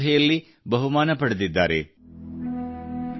ತೆಲುಗಿನ ನಂತರ ಈಗ ನಾನು ನಿಮಗೆ ಮೈಥಿಲಿಯಲ್ಲಿ ಒಂದು ಕ್ಲಿಪ್ ಕೇಳಿಸುತ್ತೇನೆ